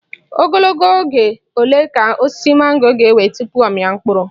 Ogologo oge ole ka osisi mango ga-ewe tupu ọ mụọ mkpụrụ?